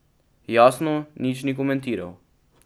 Jasno, nič ni komentiral.